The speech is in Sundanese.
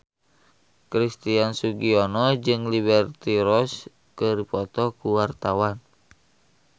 Christian Sugiono jeung Liberty Ross keur dipoto ku wartawan